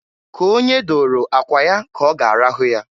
K'onye dooro akwa ya k'ọga arahụ ya.